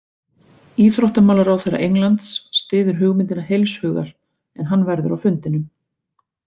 Íþróttamálaráðherra Englands styður hugmyndina heilshugar en hann verður á fundinum.